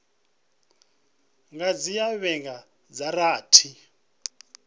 nga dzhia vhege dza rathi